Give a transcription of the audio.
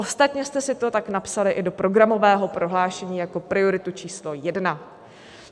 Ostatně jste si to tak i napsali do programového prohlášení jako prioritu číslo jedna.